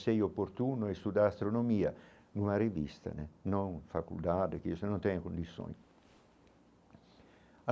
oportuno e estudar astronomia numa revista né, não em faculdade, que isso não tem condições.